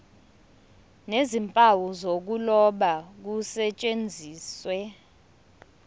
nezimpawu zokuloba kusetshenziswe